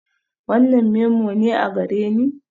Wannan memo ne a gareni?